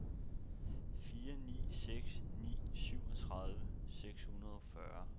fire ni seks ni syvogtredive seks hundrede og fyrre